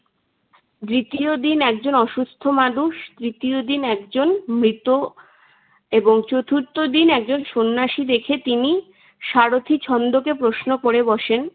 দ্বিতীয় দিন একজন অসুস্থ মানুষ তৃতীয় দিন একজন মৃত এবং চতুর্থ দিন একজন সন্ন্যাসী দেখে তিনি সারথি ছন্দকে প্রশ্ন করে বসেন,